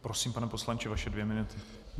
Prosím, pane poslanče, vaše dvě minuty.